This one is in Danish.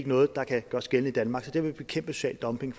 noget der kan gøres gældende i danmark så der vil vi bekæmpe social dumping